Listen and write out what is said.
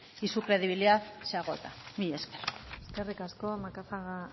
y su credibilidad se agota mila esker eskerrik asko macazaga